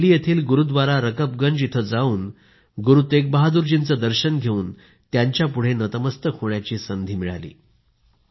मला दिल्ली येथील गुरुद्वारा रकबगंज येथे जाऊन गुरु तेग बहादुरजींचे दर्शन घेऊन त्यांची पुढे नतमस्तक होण्याची संधी मिळाली